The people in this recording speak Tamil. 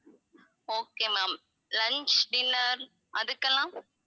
okay ma'am lunch dinner அதுக்கெல்லாம்